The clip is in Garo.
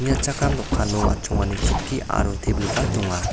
dokano atchongani chokki aro tebilba donga.